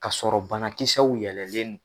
Ka sɔrɔ banakisɛw yɛlɛlen don.